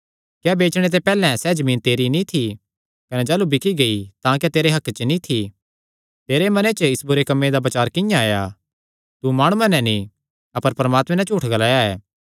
क्या बेचणे ते पैहल्ले सैह़ जमीन तेरी नीं थी कने जाह़लू बिकी गेई तां क्या तेरे हक्के च नीं थी तेरे मने च इस बुरे कम्मे दा बचार किंआं आया तू माणुआं नैं नीं अपर परमात्मे नैं झूठ ग्लाया ऐ